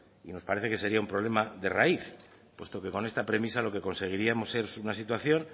y nos parece que sería un problema de raíz puesto que con esta premisa lo que conseguiríamos es una situación